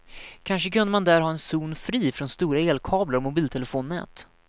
Kanske kunde man där ha en zon fri från stora elkablar och mobiltelefonnät.